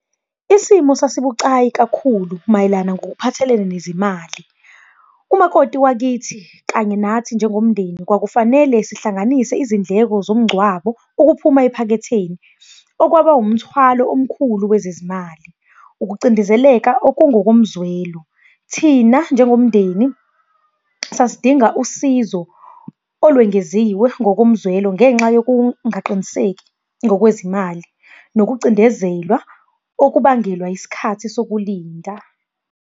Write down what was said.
Isimo sasibucayi kakhulu mayelana ngokuphathelene nezimali. Umakoti wakithi kanye nathi njengomndeni kwakufanele sihlanganise izindleko zomngcwabo, okuphuma ephaketheni, okwaba umthwalo omkhulu wezezimali. Ukucindezeleka okungokomzwelo, thina njengomndeni sasidinga usizo olwengeziwe ngokomzwelo ngenxa yokungaqiniseki ngokwezimali, nokucindezelwa okubangelwa yisikhathi sokulinda.